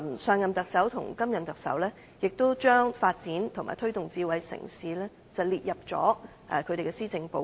上任特首及現任特首也把發展及推動智慧城市列入他們的施政報告。